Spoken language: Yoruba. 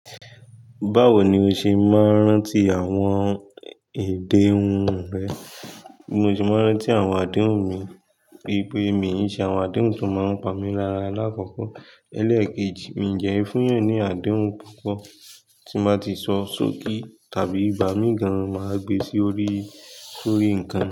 Báwo ni o ṣe máa ń rántí àwọn èdè hun rẹ? Mo ṣe máa ń rántí àwọn àdéhùn mi wípé mi iṣe àwọn àdéhùn tí ó máa ń pa mí lára lákòókò eléèkejì, mí jẹ́ e fún yàn ní àdéhùn púpọ̀ tí máa ti sọ sókì tàbí igbà mí gan máa gbe sí orí, sórí nǹkan.